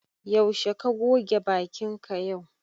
Zaushe ka goge bakin ka yau?